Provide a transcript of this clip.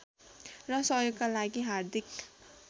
र सहयोगका लागि हार्दिक